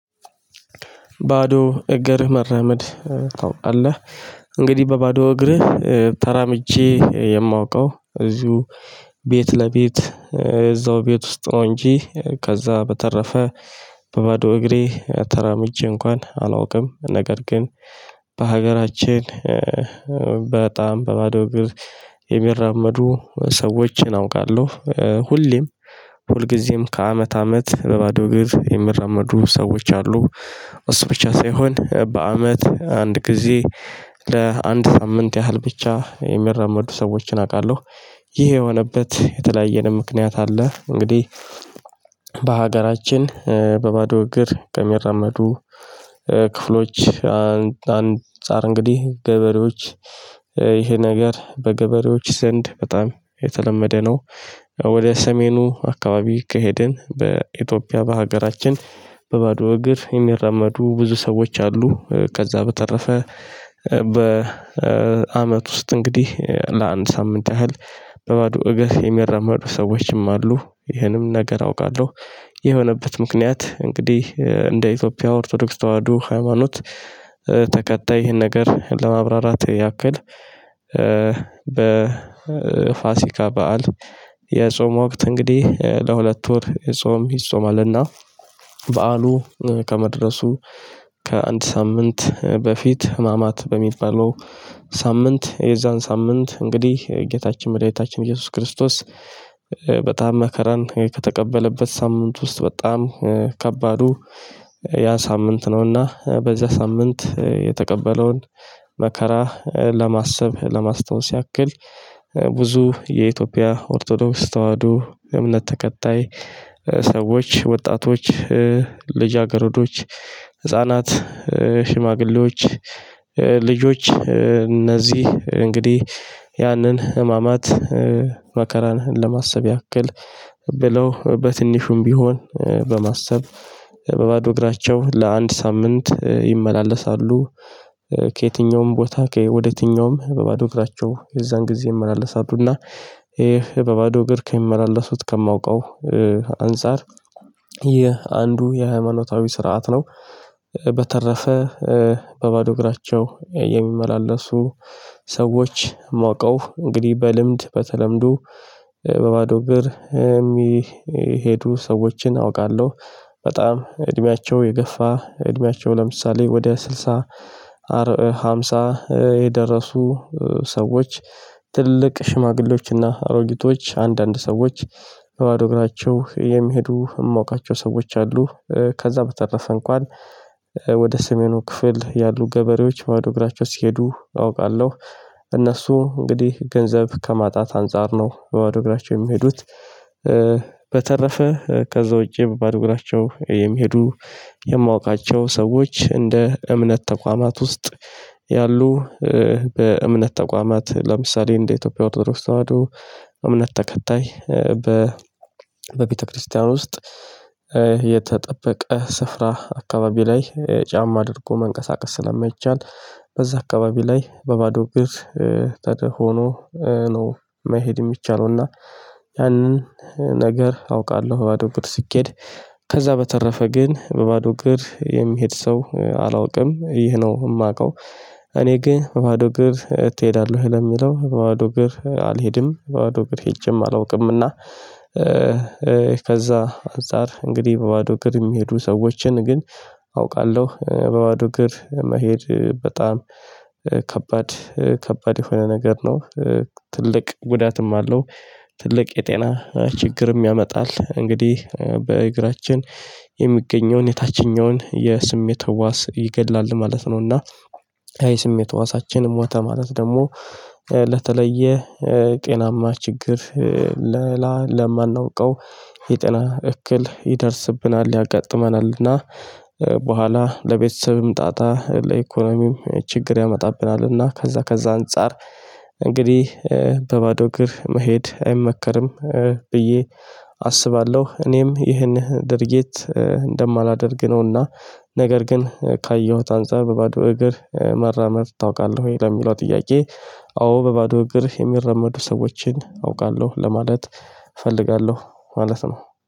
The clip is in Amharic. ባዶ እገርህ መራመድ ታውቃለህ እንግዲህ በባዶ እግርህ ተራምጄ የማውቀው እዚሁ ቤት ለቤት እዛው ቤት ውስጥ ነው። እንጂ ከዛ በተረፈ በባዶ እግሬ ተራምጄ እንኳን አላውቅም ነገር ግን። በሀገራችን በጣም በባዶ እግር የሚራመዱ ሰዎችን አውቃለሁ ሁሌም ሁልጊዜም ከአመት አመት በባዶ እግር የሚራመዱ ሰዎች አሉ እሱ ብቻ ሳይሆን በአመት አንድ ጊዜ ለአንድ ሳምንት ያህል ብቻ የሚራመዱ ሰዎችን አውቃለሁ። ይሄ የሆነበት የተለያየንም ምክንያት አለ። እንግዲህ በሀገራችን በባዶ እግር ከሚራመዱ ክፍሎች አንፃር እንግዲህ ገበሬዎች ይሄ ነገር በገበሬዎች ዘንድ በጣም የተለመደ ነው። ወደ ሰሜኑ አካባቢ ከሄድን በኢትዮጵያ በሀገራችን በባዶ እግር የሚራመዱ ብዙ ሰዎች አሉ። ከዛ በተረፈ በአመት ውስጥ እንግዲህ ለአንድ ሳምንት ያህል በባዶ እግር የሚረመዱ ሰዎችም አሉ ይህንም ነገር አውቃለሁ። የሆነበት ምክንያት እንግዲህ እንደ ኢትዮጵያ ኦርቶዶክስ ተዋህዶ ሃይማኖት ተከታይ ይህን ነገር ለማብራራት ያክል። በፋሲካ በዓል የጾም ወቅት እንግዲህ ለሁለት ወር ጾም ይጾማልና። በዓሉ ከመድረሱ ከአንድ ሳምንት በፊት ህማማት በሚባለው ሳምንት የዛን ሳምንት እንግዲህ ጌታችን መድኃኒታችን ኢየሱስ ክርስቶስ። በጣም መከራን ከተቀበለበት ሳምንት ውስጥ በጣም ከባዱ ያ ሳምንት ነውና በዛ ሳምንት የተቀበለውን መከራ ለማሰብ ለማስታወስ ያክል ብዙ የኢትዮጵያ ኦርቶዶክስ ተዋህዱ እምነት ተከታይ። ሰዎች ወጣቶች ልጅ አገረዶች ሽማግሌዎች ልጆች እነዚህ እንግዲህ ያንን ህማማት መከራን ለማሰብ ያክል ብለው በትንሹም ቢሆን በማሰብ በባዶ እግራቸው ለአንድ ሳምንት ይመላለሳሉ። ከየትኛውም ቦታ ከወደ የትኛውም በባዶ እግራቸው የዛን ጊዜ እመላለሳለሁና በባዶ እግር ከሚመላለሱት ከማውቀው አንፃር የአንዱ የሃይማኖታዊ ስርዓት ነው። በተረፈ በባዶ እግራቸው የሚመላለሱ ሰዎች ማውቀው እንግዲህ በልምድ በተለምዶ በባዶ እግር የሚሄዱ ሰዎችን አውቃለሁ። በጣም እድሜያቸው የገፋ እድሜያቸው ለምሳሌ ወደ ስልሳ ሃምሳ የደረሱ ሰዎች ትልቅ ሽማግሌዎችና አሮጊቶች አንዳንድ ሰዎች በባዶ እግራቸው የሚሄዱ የማውቃቸው ሰዎች አሉ። ከዛ በተረፈ እንኳን ወደ ሰሜኑ ክፍል ያሉ ገበሬዎች ባዶ እግራቸው ሲሄዱ አውቃለሁ። እነሱ እንግዲህ ገንዘብ ከማጣት አንፃር ነው በባዶ እግራቸው የሚሄዱት። በተረፈ ከዛ ውጪ በባዶ እግራቸው የሚሄዱ የማውቃቸው ሰዎች እንደ እምነት ተቋማት ውስጥ ያሉ በእምነት ተቋማት ለምሳሌ እንደ ኢትዮጵያ ኦርቶዶክስ ተዋህዶ እምነት ተከታይ በ በቤተክርስቲያን ውስጥ የተጠበቀ ስፍራ አካባቢ ላይ ጫማ አድርጎ መንቀሳቀስ ስለማይቻል። በዛ አካባቢ ላይ በባዶ ግርት ተደህፎ ሆኖ ነው መሄድ የሚቻለው እና ያንን ነገር አውቃለሁ። በባዶ እግር ስኬድ ከዛ በተረፈ ግን በባዶ እግር የሚሄድ ሰው አላውቅም ይህ ነው የማውቀው። እኔ ግን በባዶ እግር ትሄዳለህ ለምለው በባዶ እግር አልሄድም በባዶ እግር ሄጄም አላውቅምና። ከዛ አንፃር እንግዲህ በባዶ እግር የሚሄዱ ሰዎችን ግን አውቃለሁ በባዶ እግር መሄድ በጣም ከባድ ከባድ የሆነ ነገር ነው። ትልቅ ጉዳትም አለው ትልቅ የጤና ችግርም ያመጣል። እንግዲህ በእግራችን የሚገኘውን የታችኛውን የስሜት ህዋስ ይገድላል ማለት ነው እና። የስሜት ህዋሳችን ሞተ ማለት ደግሞ ለተለየ ጤናማ ችግር ለማናውቀው የጤና እክል ይደርስብናል ያጋጥመናልና። በኋላ ለቤተሰብም ጣጣ ለኢኮኖሚም ችግር ያመጣብናልና ከዛ ከዛ አንፃር እንግዲህ በባዶ እግር መሄድ አይመከርም። ብዬ አስባለሁ እኔም ይህን ድርጊት እንደማላደርግ ነውና። ነገር ግን ካየሁት አንፃር በባዶ እግር መራመድ ታውቃለህ? ወይ ለሚለው ጥያቄ። አዎ በባዶ እግር የሚረመዱ ሰዎችን አውቃለሁ ለማለት እፈልጋለሁ ማለት ነው።